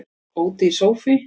Ódýr sófi